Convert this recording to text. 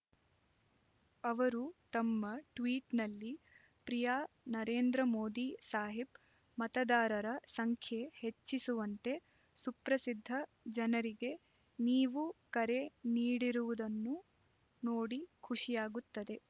ಅವರು ತಮ್ಮ ಟ್ವೀಟ್‌ನಲ್ಲಿ ಪ್ರಿಯ ನರೇಂದ್ರ ಮೋದಿ ಸಾಹಿಬ್ ಮತದಾರರ ಸಂಖ್ಯೆ ಹೆಚ್ಚಿಸುವಂತೆ ಸುಪ್ರಸಿದ್ಧ ಜನರಿಗೆ ನೀವು ಕರೆ ನೀಡಿರುವುದನ್ನು ನೋಡಿ ಖುಷಿಯಾಗುತ್ತದೆ